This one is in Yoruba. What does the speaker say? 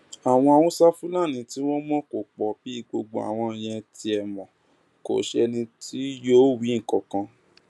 àwọn haúsáfúlani tí wọn mọ kò pọ bí gbogbo àwọn yẹn tiẹ mọ kò sẹni tí yóò wí nǹkan kan